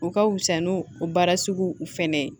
U ka fusa n'u baara sugu u fɛnɛ ye